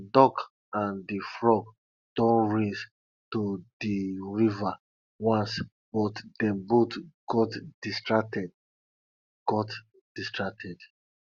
de duck and de frog don race to de river once but dem both got distracted got distracted